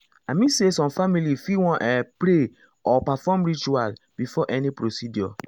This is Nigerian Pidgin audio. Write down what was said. i mean say some families fit wan ah pray or perform ritual before any procedure.